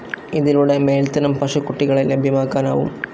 ഇതിലൂടെ മേൽത്തരം പശുക്കുട്ടികളെ ലഭ്യമാക്കാനാവും.